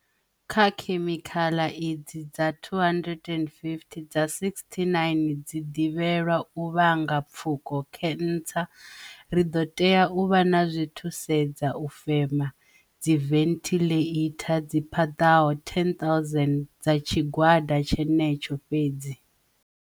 Kha khemikhala idzi dza 250, dza 69 dzi ḓivhelwa u vhanga pfuko, khensa. Ri ḓo tea u vha na zwithusedza u fema, dziventhiḽeitha dzi paḓaho 10 000 dza tshigwada tshenetsho fhedzi.